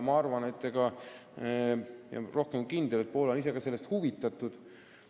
Ma olen kindel, et Poola ka ise on sellest huvitatud.